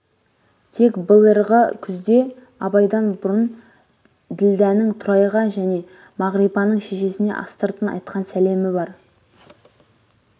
тек быліырғы күзде абайдан бұрын ділдәнің тұрайға және мағрипаның шешесіне астыртын айтқан селемі бар